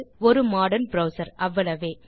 ஒரு modern browser அவ்வளவே